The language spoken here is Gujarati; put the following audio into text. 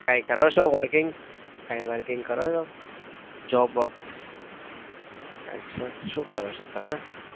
કઈ કરો છો? working કાંઈ working કરો છો? job વોબ? અચ્છા શું કરો છો તમે?